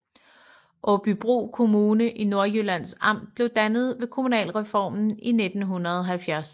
Aabybro Kommune i Nordjyllands Amt blev dannet ved kommunalreformen i 1970